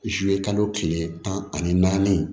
kalo kile tan ani naani